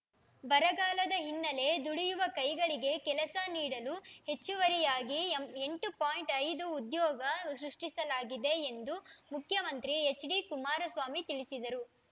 ಬರಗಾಲದ ಹಿನ್ನೆಲೆ ದುಡಿಯುವ ಕೈಗಳಿಗೆ ಕೆಲಸ ನೀಡಲು ಹೆಚ್ಚುವರಿಯಾಗಿ ಎಂಬ್ ಎಂಟು ಪಾಯಿಂಟ್ ಐದು ಉದ್ಯೋಗ ಸೃಷ್ಟಿಸಲಾಗಿದೆ ಎಂದು ಮುಖ್ಯಮಂತ್ರಿ ಎಚ್‌ಡಿ ಕುಮಾರಸ್ವಾಮಿ ತಿಳಿಸಿದರು